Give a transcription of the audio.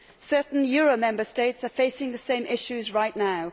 Certain euro Member States are facing the same issues right now.